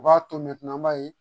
U b'a to mɛtiri an b'a ye